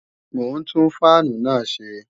Mò ń tún fáànù náà ṣe